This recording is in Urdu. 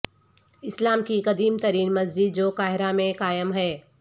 اسلام کی قدیم ترین مسجد جو قاہرہ میں قائم ہے